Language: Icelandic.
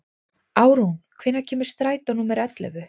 Árún, hvenær kemur strætó númer ellefu?